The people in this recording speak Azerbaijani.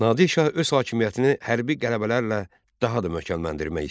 Nadir Şah öz hakimiyyətini hərbi qələbələrlə daha da möhkəmləndirmək istəyirdi.